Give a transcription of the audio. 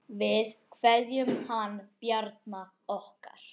Við kveðjum hann Bjarna okkar.